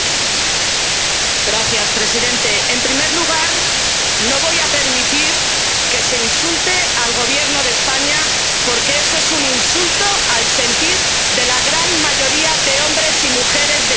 Señor presidente, en primer lugar, no voy a permitir que se insulte al Gobierno de España, porque eso es un insulto al sentir de la gran mayoría de hombres y mujeres de mi país.